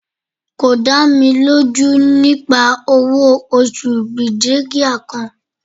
ko da mi loju nipa owo osu brigadier kan